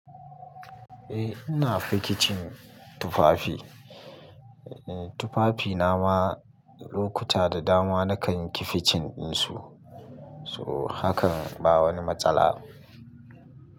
Eh ina fikicin tufafi. Eh tufafi na ma lokuta da dama na kan yi binkicen su. So hakan ba wani matsala.